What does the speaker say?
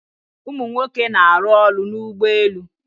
Umunwoke na-aru oru n'ugboelu